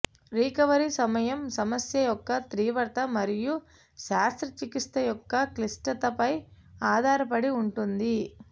recovery సమయం సమస్య యొక్క తీవ్రత మరియు శస్త్రచికిత్స యొక్క క్లిష్టతపై ఆధారపడి ఉంటుంది